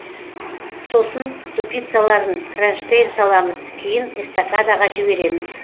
сосын ступицаларын кронштейн саламыз кейін эстакадаға жібереміз